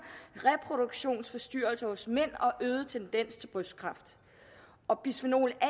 reproduktionsforstyrrelser hos mænd og en øget tendens til brystkræft og bisfenol a